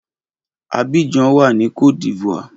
Abidjan wà ní cote d'Ivoire.